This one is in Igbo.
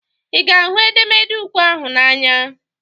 Ị ga ahụ edemede ukwe ahụ n'anya?